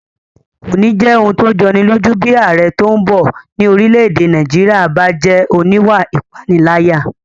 Kò ní jẹ́ ohun tó jọni lójú bí ààrẹ tó bọ̀ ní orílẹ̀-èdè Nàìjíríyà bá jẹ́ oníwà ìpániláyà